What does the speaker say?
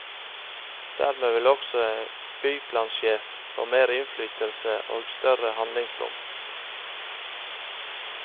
Dermed vil også en byplansjef få mer innflytelse og større handlingsrom.